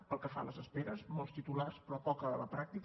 pel que fa a les esperes molts titulars però poc a la pràctica